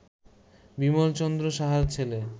বিমল চন্দ্র সাহার ছেলে